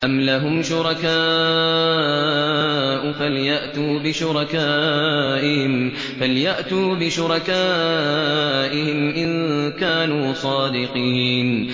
أَمْ لَهُمْ شُرَكَاءُ فَلْيَأْتُوا بِشُرَكَائِهِمْ إِن كَانُوا صَادِقِينَ